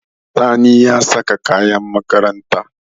Sani ya saka kayan makaranta.